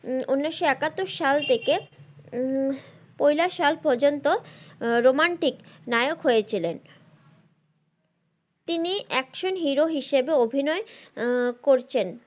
উনিশশো একাত্তর সাল থেকে উম পইলা সাল পর্যন্ত romantic নায়ক হয়েছিলেন তিনি অ্যাকশন হিরো হিসেবে অভিনয় করছেন।